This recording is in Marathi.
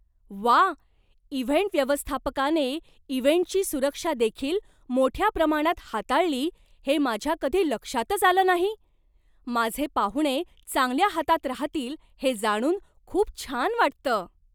व्वा, इव्हेंट व्यवस्थापकाने इव्हेंटची सुरक्षादेखील मोठ्या प्रमाणात हाताळली हे माझ्या कधी लक्षातच आलं नाही! माझे पाहुणे चांगल्या हातात राहतील हे जाणून खूप छान वाटतं.